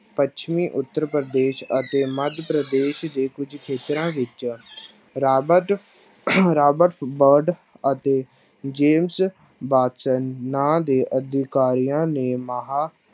ਪੱਛਮੀ ਉੱਤਰ ਪ੍ਰਦੇਸ਼ ਅਤੇ ਮੱਧ ਪ੍ਰਦੇਸ਼ ਦੇ ਕੁੱਝ ਖੇਤਰਾਂ ਵਿੱਚ ਰਾਬਰਟ ਰਾਬਰਟ ਬਰਡ ਅਤੇ ਜੇਮਸ ਬਾਕਸਨ ਨਾਂ ਦੇ ਅਧਿਕਾਰੀਆਂ ਨੇ ਮਹਾਂ